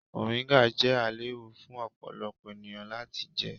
Moringa jẹ ailewu fun ọpọlọpọ eniyan lati jẹ.